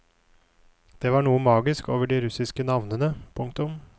Det var noe magisk over de russiske navnene. punktum